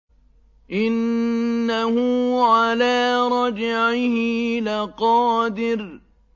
إِنَّهُ عَلَىٰ رَجْعِهِ لَقَادِرٌ